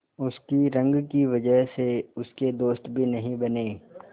उसकी रंग की वजह से उसके दोस्त भी नहीं बने